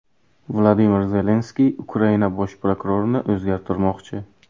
Vladimir Zelenskiy Ukraina Bosh prokurorini o‘zgartirmoqchi.